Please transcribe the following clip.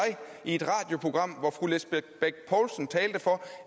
i et radioprogram hvor fru lisbeth bech poulsen talte for